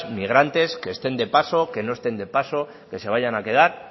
migrantes que estén de paso que no estén de paso que se vayan a quedar